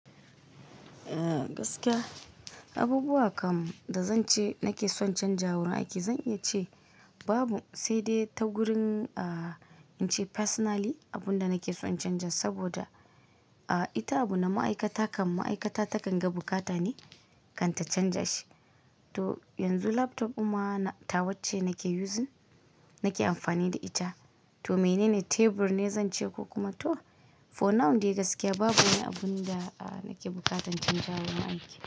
Eh gaskiya abubuwa kam da zan ce nake son chanza wurin aiki, zan iya ce babu sai dai ta gurin ah in ce personally abun da nake son chanza saboda ah ita abu na ma'aikata kam ma'aikata takan ga bukata ne kan ta chanza shi. To yanzu laptop din ma tawacce nake using nake amfani da ita to menene tebur ne zan ce ko kuma to for now dai gaskiya babu wani abun da nake bukatan chanza wurin aiki.